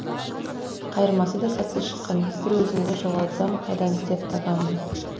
қайырмасы да сәтсіз шыққан бір өзіңді жоғалтсам қайдан іздеп табамын